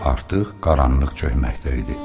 Artıq qaranlıq çökməkdə idi.